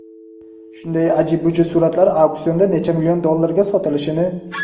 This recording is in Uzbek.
shunday aji-buji suratlar auksionda necha million dollarlarga sotilishini.